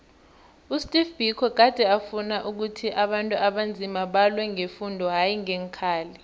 usteve biko gade afuna ukhuthi abantu abanzima balwe ngefundo hayi ngeenkhali